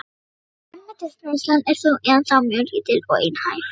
Grænmetisneyslan er þó ennþá mjög lítil og einhæf.